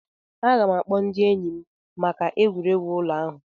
Aga m ga-akpọ ndị enyi m maka egwuregwu ụlọ ahụ.